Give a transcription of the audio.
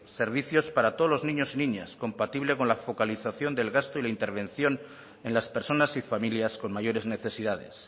servicios para todos los niños y niñas compatible con la focalización del gasto y la intervención en las personas y familias con mayores necesidades